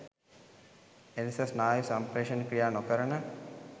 එලෙස ස්නායු සම්ප්‍රේෂක ක්‍රියා නොකරන